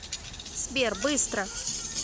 сбер быстро